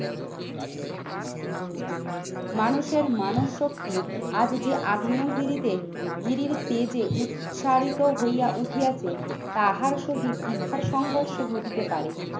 মানুষের মানব শক্তি আজ যে আগ্নেয়গিরিতে গিরির তেজে উৎসাহিত হইয়া উঠিয়াতে তাহার সহিত ইহার সংঘর্ষ ঘটিতে পারে